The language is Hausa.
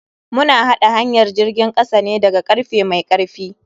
Mu na haɗa hanyar jirgin kasa ne daga karfe mai karfi.